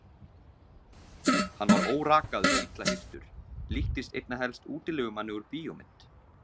Hann var órakaður og illa hirtur, líktist einna helst útilegumanni úr bíómynd.